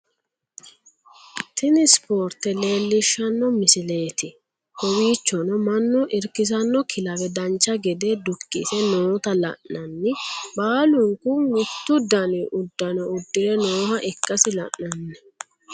Tini spoorte leellishshanno misileeti kowiicjono mannu irkisanno kilawe dancha gede dukkise noota la'nanni baalunku mittu dani uddano uddire nooha ikkasi la'nanni